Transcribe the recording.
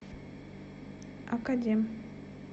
академ